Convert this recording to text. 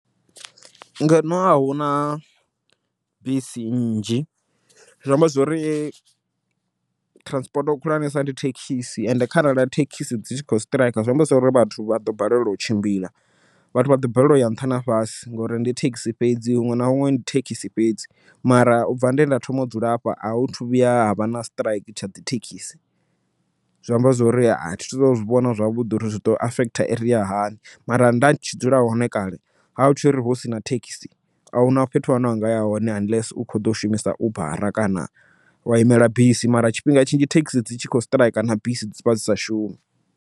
Ngeno ahuna bisi nnzhi, zwi amba zwori transport khulwanesa ndi thekhisi ende kharali thekhisi dzi tshi kho siṱiraika zwi amba zwori vhathu vha ḓo balelwa u tshimbila. Vhathu vha ḓo balelwa uya nṱha na fhasi ngori ndi thekhisi fhedzi huṅwe na huṅwe thekhisi fhedzi, mara ubva nde nda thoma u dzula hafha ahu thu vhuya havha na siṱiraiki tsha dzi thekhisi. Zwi amba zwori a thi tu zwivhona zwavhuḓi uri zwi to affect area hani mara nda tshi dzula hone kale, ha hu tshiri hu sina thekhisi ahuna fhethu hune anga ya hone unless u kho ḓo shumisa ubara kana wa imela bisi, mara tshifhinga tshinzhi thekhisi dzi tshi khou siṱiraika na bisi dzivha dzisa shumi.